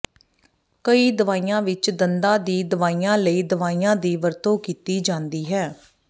ਕਈ ਦਵਾਈਆਂ ਵਿਚ ਦੰਦਾਂ ਦੀ ਦਵਾਈਆਂ ਲਈ ਦਵਾਈਆਂ ਦੀ ਵਰਤੋਂ ਕੀਤੀ ਜਾਂਦੀ ਹੈ